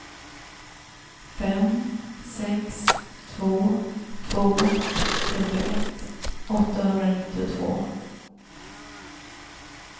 fem sex två två trettioett åttahundranittiotvå